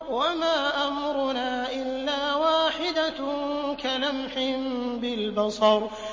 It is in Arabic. وَمَا أَمْرُنَا إِلَّا وَاحِدَةٌ كَلَمْحٍ بِالْبَصَرِ